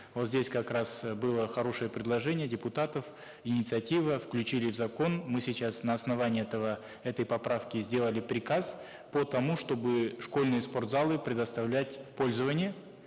вот здесь как раз было хорошее предложение депутатов инициатива включили в закон мы сейчас на основании этой поправки сделали приказ по тому чтобы школьные спортзалы предоставлять в пользование